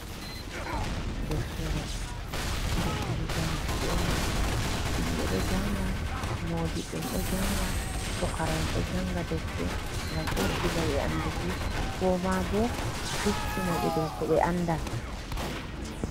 Deftere janguki on ɗo, himɓe ɗo jannga, moodiɓɓe'en ɗo jannga ,pukara'en ɗo janga defte ,ngam ɓeddina ɓe annduki ko maabo fistinaɓe dow ko ɓe annda.